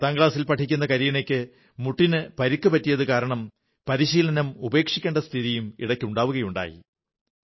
പത്താം ക്ലാസിൽ പഠിക്കുന്ന കരീന മുട്ടിന് പരുക്കു പറ്റിയതു കാരണം പരിശീലനം ഉപേക്ഷിക്കേണ്ട സ്ഥിതിയും ഇടയ്ക്ക് ഉണ്ടാവുകയുണ്ടായി